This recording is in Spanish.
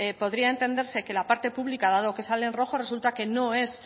podría entenderse que la parte pública dado que sale en rojo resulta que no es